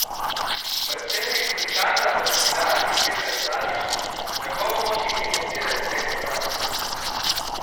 Predsednik sindikata v kobilarni Peter Slavič: 'Ne bomo mogli financirati teh programov.